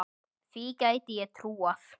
Því gæti ég trúað